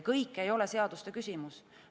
Kõik ei ole seaduste küsimus.